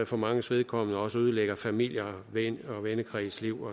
for manges vedkommende også ødelægger familiens og vennekredens liv